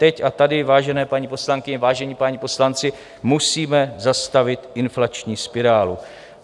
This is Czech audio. Teď a tady, vážené paní poslankyně, vážení páni poslanci, musíme zastavit inflační spirálu.